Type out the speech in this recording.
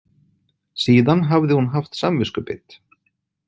Síðan hafði hún haft samviskubit.